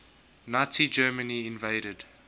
nazi germany invaded